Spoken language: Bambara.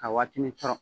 Ka waatinin sɔrɔ